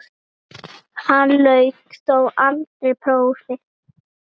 Hann lauk þó aldrei prófi.